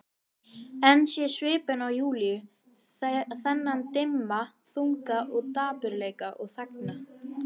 En sé svipinn á Júlíu, þennan dimma þunga dapurleika, og þagna.